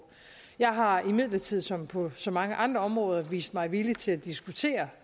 jeg har imidlertid som på så mange andre områder vist mig villig til at diskutere